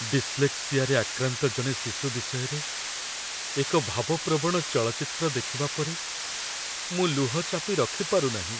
ଡିସ୍ଲେକ୍ସିଆରେ ଆକ୍ରାନ୍ତ ଜଣେ ଶିଶୁ ବିଷୟରେ ଏକ ଭାବପ୍ରବଣ ଚଳଚ୍ଚିତ୍ର ଦେଖିବା ପରେ, ମୁଁ ଲୁହ ଚାପି ରଖିପାରୁନାହିଁ।